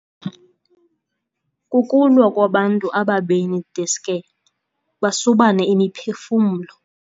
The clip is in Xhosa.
Kukulwa kwabantu ababini deske basubane imiphefumlo.